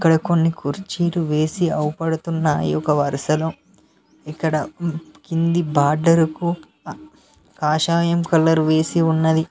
ఇక్కడ కొన్ని కుర్చీలు వేసి ఆవుపడుతున్నాయి ఒక వరుసలో ఇక్కడ కింది బార్డర్ కు కాషాయం కలర్ వేసి ఉన్నది.